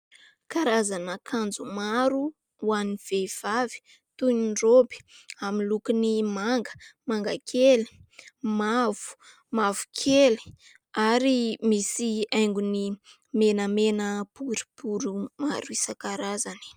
Karazana akanjo maro ho an'ny vehivavy toy ny raoby amin'ny lokony manga, mangakely, mavo, mavokely ary misy haingony menamena boribory maro isan-karazany.